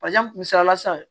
misaliyala sisan